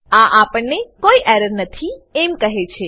આ આપણને કોઈ એરર નથી એમ કહે છે